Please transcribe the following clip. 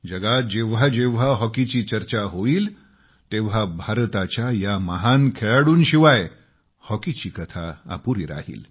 जगात जेव्हा जेव्हा हॉकीची चर्चा होईल तेव्हा भारताच्या या महान खेळाडूंशिवाय हॉकीची कथा अपुरी राहील